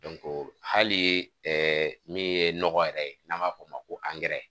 o hali min ye nɔgɔ yɛrɛ ye n'an b'a f'o ma ko